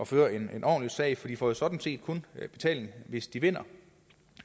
føre en ordentlig sag for de får sådan set kun betaling hvis de vinder